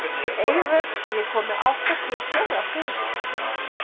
Eivör, ég kom með áttatíu og fjórar húfur!